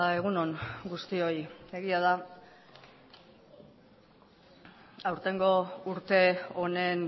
egun on guztioi egia da aurtengo urte honen